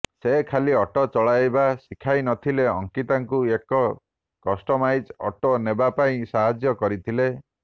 ସେ ଖାଲି ଅଟୋ ଚଳାଇବା ଶିଖାଇନଥିଲେ ଅଙ୍କିତାଙ୍କୁ ଏକ କଷ୍ଟମାଇଜ୍ଡ ଅଟୋ ନେବା ପାଇଁ ସାହାଯ୍ୟ କରିଥିଲେ